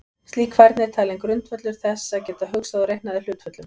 Slík færni er talin grundvöllur þess að geta hugsað og reiknað í hlutföllum.